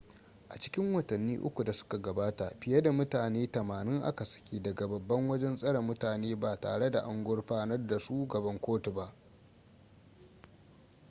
a cikin watanni 3 da suka gabata fiye da mutane 80 a ka saki daga babban wajen tsare mutane ba tare da an gurfanar da su gaban kotu ba